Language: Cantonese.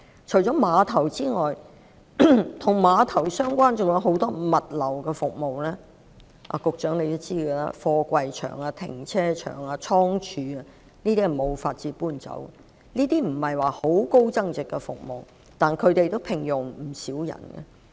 除了碼頭之外，還有很多與碼頭相關的物流服務——局長也知道，例如貨櫃場、停車場及倉貯——這些是無法遷走的，儘管這些並非有很高增值的服務，但也聘用了不少人。